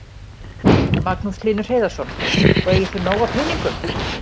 Magnús Hlynur Hreiðarsson: Og eigið þið nóg af peningum?